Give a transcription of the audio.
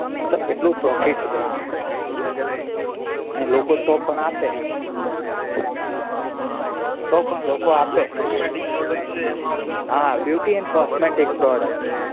મતલબ એટલું profit છે એમાં અને લોકો તો પણ આપે તો પણ લોકો આપે beauty and cosmetic product